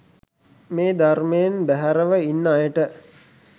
මේ ධර්මයෙන් බැහැරව ඉන්න අයට